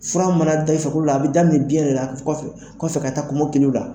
Fura mana da i farikolo la, a bɛ daminɛ biɲɛ de la, kɔfɛ kɔfɛ ka taa kɔmɔkiliw la.